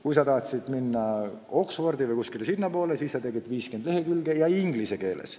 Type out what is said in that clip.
Kui sa tahtsid minna Oxfordi või kuskile mujale sinnapoole, siis panid kirja 50 lehekülge inglise keeles.